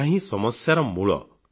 ଏହାହିଁ ସମସ୍ୟାର ମୂଳ